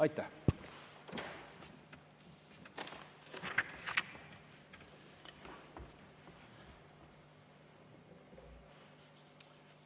Aitäh!